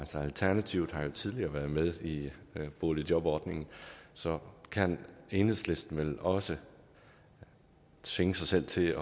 alternativet har jo tidligere været med i boligjobordningen og så kan enhedslisten vel også tvinge sig selv til